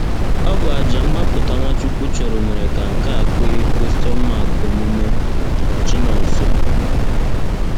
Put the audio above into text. Ọ bụ àjà mgbapụta Nwachukwu chụrụ mere ka nke a kwe omume. — Chinonso.